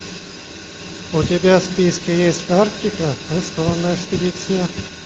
у тебя в списке есть арктика рискованная экспедиция